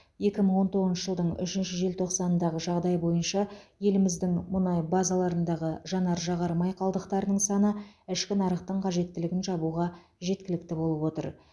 екі мың он тоғызыншы жылдың үшінші желтоқсанындағы жағдай бойынша еліміздің мұнай базаларындағы жанар жағар май қалдықтарының саны ішкі нарықтың қажеттілігін жабуға жеткілікті болып отыр